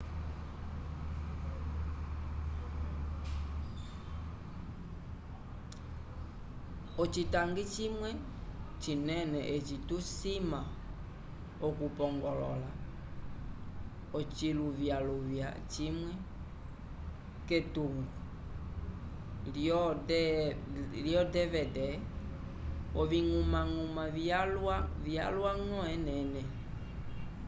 ocitangi cimwe cinene eci tusima okupongolola ociluvyaluvya cimwe k'etungo lyo dvd oviñgumañguma vyalwañgo enene